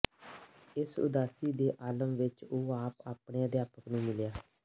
ਇਸ ਉਦਾਸੀ ਦੇ ਆਲਮ ਵਿੱਚ ਉਹ ਆਪਣੇ ਅਧਿਆਪਕ ਨੂੰ ਮਿਲਿਆ